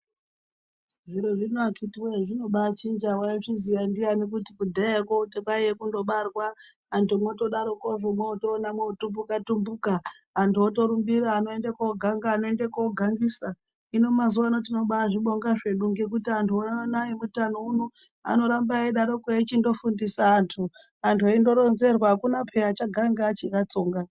Zviro zvino akiti wee zvinobaachinjaa , waizviziya ndiani kuti kudhayako kwaive kundobarwaa antu motodaroko motoona mototumbuka timbukaa, vanhu votorumbirira vanoende koganga, vandoende kogangisaa. Hino mazuvano tinobaazvibonga zvedu ngekuti antu ano eutano ano anoramba eidaroko eichindofundisa antu vantu, vantu veindoronzerwaa, hakuna peyaa achaganga achakatsongaa.